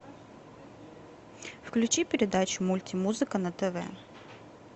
включи передачу мультимузыка на тв